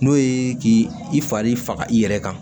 N'o ye k'i fari faga i yɛrɛ kan